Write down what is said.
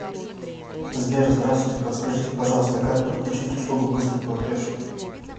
сбер здавствуйте подскажите пожалуйста как подключить услугу быстрый платеж